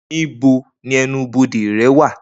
Nibo ni ẹnu-bode rẹ wa?